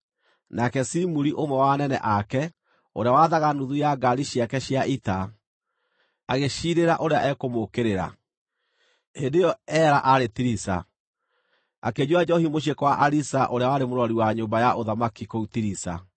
Nake Zimuri, ũmwe wa anene ake, ũrĩa waathaga nuthu ya ngaari ciake cia ita, agĩciirĩra ũrĩa ekũmũũkĩrĩra. Hĩndĩ ĩyo Ela aarĩ Tiriza, akĩnyua njoohi mũciĩ kwa Ariza ũrĩa warĩ mũrori wa nyũmba ya ũthamaki kũu Tiriza.